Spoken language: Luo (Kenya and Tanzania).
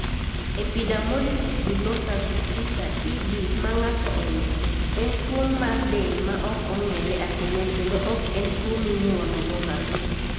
Epidermolysis bullosa acquisita (EB ma ng'ato oyudo) en tuwo mar del ma ok ong'ere ahinya kendo ok en tuwo minyuolo go nga'to.